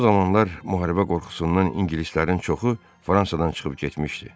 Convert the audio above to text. O zamanlar müharibə qorxusundan ingilislərin çoxu Fransadan çıxıb getmişdi.